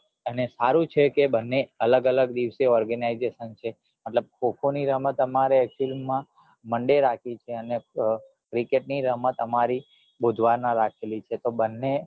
અને સારું છે કે બંને અલગ અલગ દિવસે organization છે મતલબ ખો ખો ની રમત અમારે actual માં monday રખી છે અને cricket ની રમત અમારી બુધવારે રાખી છે તો બંને